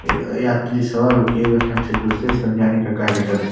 यात्री सवार होके एक स्थान से दूसरे स्थान जाने का कार्य कर रहे।